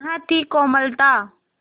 वह थी कोमलता